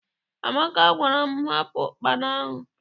Amaka gwara m, hapụ ụkpana ahụ!